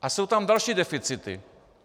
A jsou tam další deficity.